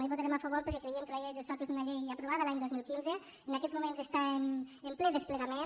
no hi votarem a favor perquè creiem que la llei del soc és una llei aprovada l’any dos mil quinze en aquests moments està en ple desplegament